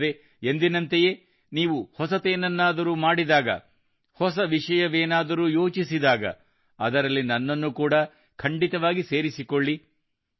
ಅಲ್ಲದೇ ಎಂದಿನಂತೆಯೇ ನೀವು ಹೊಸದೇನಾದರೂ ಮಾಡಿದಾಗ ಹೊಸ ವಿಷಯವೇನಾದರೂ ಯೋಚಿಸಿದಾಗ ಅದರಲ್ಲಿ ನನ್ನನ್ನು ಕೂಡಾ ಖಂಡಿತವಾಗಿಯೂ ಸೇರಿಸಿಕೊಳ್ಳಿ